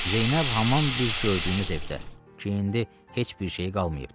Zeynəb haman biz gördüyümüz evdə, ki indi heç bir şeyi qalmayıbdı.